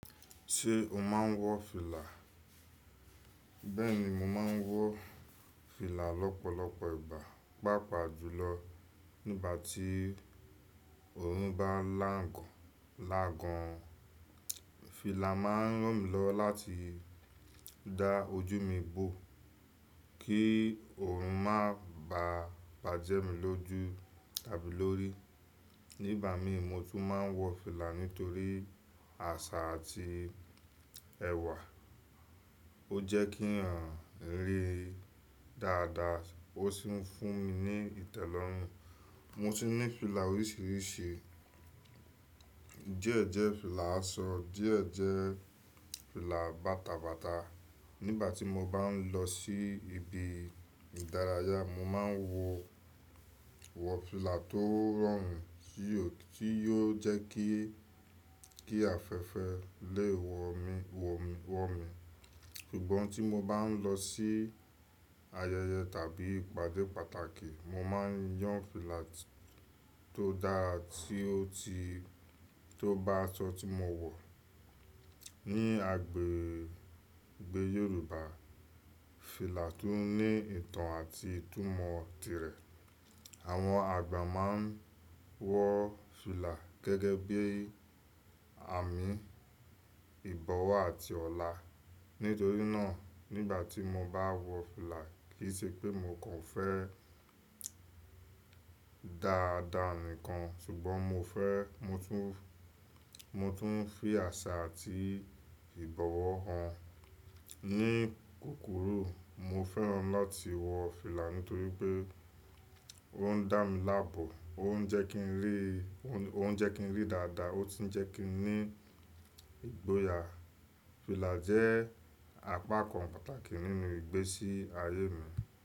Ṣé o máa ń wọ fìlà? Bẹ́ẹ̀ni, mo máa ń wọ fìlà lọ́pọ̀lọpọ̀ ìgbà. Páapaà jùlọ nígbà tí òyin bá n lankan lagan. Fìlà máa ń ràn mí lọ láti dá ojú mi bó kí òòrùn má bà bá jẹ mí lójú tàbí lórí. Nígbà mi mo tún máa ń wọ fìlà nítorí àṣà àti ẹ̀wà. Ó jẹ́ kí ń ran iri dáadáa ó sì fún mi ní ìtẹ́lọ́rùn. Mo tun ní fìlà oríṣiríṣi, díẹ̀ jẹ́ fìlà aṣọ, díẹ̀ jẹ́ fìlà bàtàbàtà. Nígbà tí mo bá ń lọ sí ibi ìdárayá, mo máa ń wọ, wọ fìlà tó rọrùn tí yóò jẹ́ kí, kí afẹ́fẹ́ lè wọ̀ mí, wọ̀ mí. Ṣùgbọ́n tí mo bá ń lọ sí ayẹyẹ tàbí ìpàdé pàtàkì, mo máa ń yán fìlà tó dára tí ó ti, tó bá aṣọ tí mo wọ̀. Ni agbègbè Yorùbá, fìlà tún ní ìtàn àti ìtumọ̀ tirẹ̀. Àwọn àgbà máa ń wọ fìlà gẹ́gẹ́ bí àmìn ìbọ̀wọ̀ àti ọlá. Nítorí náà nígbà tí mo bá wọ fìlà kì í ṣe pé mo kàn fẹ́ dáradáa nìkan ṣùgbọ́n mo fẹ́, mo tún, mo tún fi àṣà àti ìbọ̀wọ̀ hàn. Ni kukuru, mo fẹ́ràn láti wọ fìlà nítorí pé ó ń dá mi laábọ, ó ń jẹ́ kí ń rí, ó ń jẹ́ kí ń rí dáadáa ó sì ń jẹ́ kí n ní ìgboyà. Fìlà jẹ́ àpakàn pàtàkì nínú ìgbésí ayé mi.